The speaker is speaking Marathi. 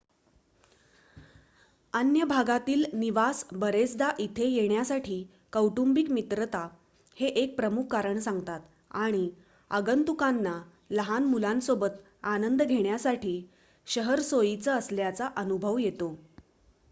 अन्य भागातील निवास बरेचदा इथे येण्यासाठी कौटुंबिक-मित्रता हे एक प्रमुख कारण सांगतात आणि आगंतुकांना लहान मुलांसोबत आनंद घेण्यासाठी शहर सोयीचं असल्याचा अनुभव येतो